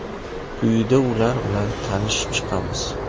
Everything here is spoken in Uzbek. Quyida ular bilan tanishib chiqamiz.